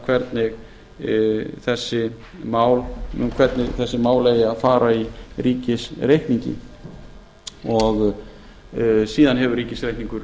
hvernig með þessi mál eigi að fara í ríkisreikningi síðan hefur ríkisreikningur